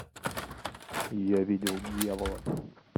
я видел дьявола